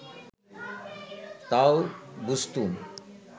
তাও বুঝতুম